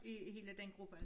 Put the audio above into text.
I hele den gruppe